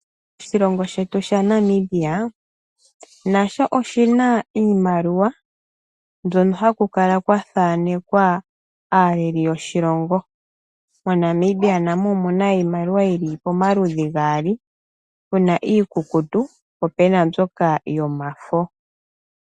Oshilongo shetu sha Namibia nasho oshina iimaliwa mbyono hakukala kwa thanekwa aaleli yoshilongo . Monamibia namo omuna iimaliwa yili pomaludhi gaali. Puna iikukutu po pena mbyoka yomafo.